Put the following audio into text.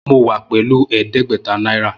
Mo wa pelu ẹdẹgbẹta naira.